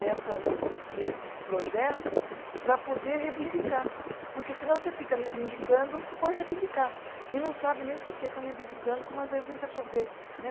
Nessas, nesses projetos para poder reivindicar, porque senão você fica reivindicando por reivindicar e não sabe nem por que está reivindicando, como às vezes a gente acon, vê né.